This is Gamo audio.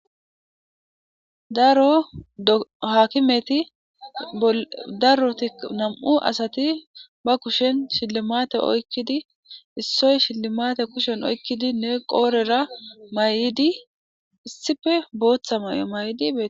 dro hakimeti daroti nam7u asati ba Kushen shillimate oykkidi issoy shillimate kushen oykkidi ne qoorera may'idi issife booththa may'o may'idi beee.